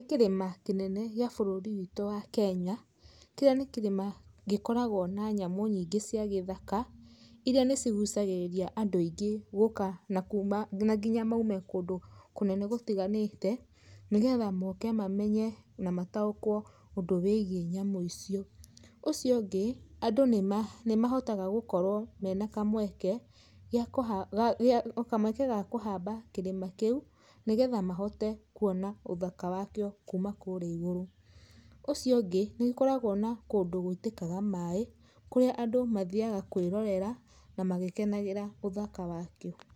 Nĩ kĩrĩma kĩnene gĩa bũrũri witũ wa Kenya, kĩrĩa nĩ kĩrĩma gĩkoragwo na nyamũ nyingĩ cia gĩthaka, iria nĩcigũcagĩrĩria andũ aingĩ gũka na nginya maume kũndũ kũnene gũtiganĩte nĩgetha moke mamenye na mataũkwo ũndũ wĩgwĩi nyamũ icio. Ũcio ũngĩ andũ nĩmahotaga gũkorwo mena kamweke ga kũhamba kĩrĩma kĩu nĩgetha mahote kũona ũthaka wakĩo kũrĩa igũrũ. Ũcio ũngĩ nĩũkoragwo na kũndũ gwĩtĩkaga maĩ kũrĩa andũ mathiaga kwĩrorera na magĩkenagira ũthaka wakĩo.